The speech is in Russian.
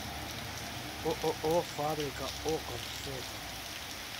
ооо фабрика окон фото